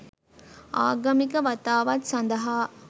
ආගමික වතාවත් සඳහා